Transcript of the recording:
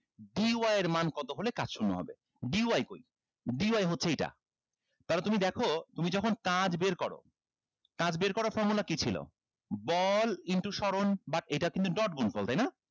d y এর মান কত হলে কাজ শূন্য হবে d y কই d y হচ্ছে এইটা তাহলে তুমি দেখো তুমি যখন কাজ বের করো কাজ বের করার formula কি ছিল বল into স্বরণ but এইটা কিন্তু dot গুনফল তাইনা